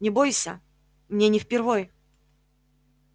не бойся мне не впервой